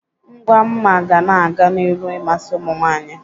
Ngwa mma ga na-aga n'iru ịmasị ụmụnwaanyị